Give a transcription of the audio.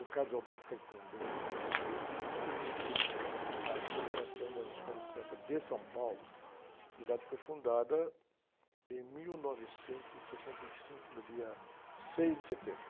O deu muito isso a ele e ele me conduziu à coligação das escolas de samba de São Paulo, que foi fundada em mil novecentos e sessenta e cinco, no dia seis de setembro.